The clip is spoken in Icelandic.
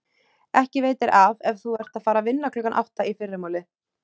Ekki veitir af ef þú ert að fara að vinna klukkan átta í fyrramálið.